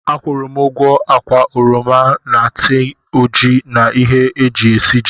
Akwụụrụ m ugwo ákwà oroma na tii ojii na ihe e ji esiji